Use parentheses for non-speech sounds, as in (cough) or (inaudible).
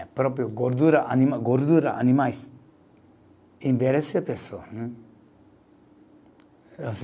A própria gordura anima, gordura animais envelhece a pessoa. Hum. (unintelligible)